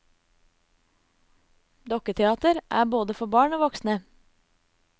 Dukketeater er både for barn og voksne.